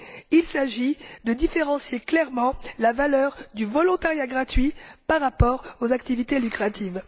Il s'agit de différencier clairement la valeur du volontariat gratuit par rapport aux activités lucratives.